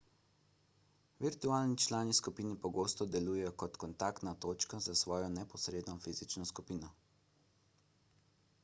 virtualni člani skupine pogosto delujejo kot kontaktna točka za svojo neposredno fizično skupino